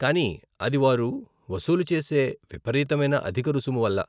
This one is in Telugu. కానీ అది వారు వసూలు చేసే విపరీతమైన అధిక రుసుము వల్ల.